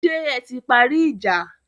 Ṣé ẹ ti parí ìjà?